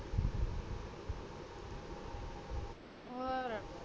ਹੋਰ